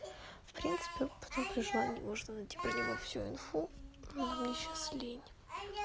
в принципе потом при желании можно найти про него всю инфу но мне сейчас лень